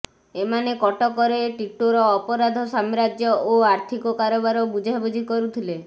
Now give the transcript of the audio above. ଏମାନେ କଟକରେ ଟିଟୋର ଅପରାଧ ସାମ୍ରାଜ୍ୟ ଓ ଆର୍ଥିକ କାରବାର ବୁଝାବୁଝି କରୁଥିଲେ